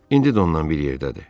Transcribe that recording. İndi də ondan bir yerdədir.